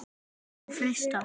Má frysta.